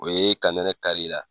O ye ka nɛnɛ kari la.